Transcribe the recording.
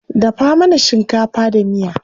Dafa mana shinkafa da miya.